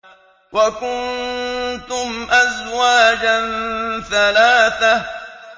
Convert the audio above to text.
وَكُنتُمْ أَزْوَاجًا ثَلَاثَةً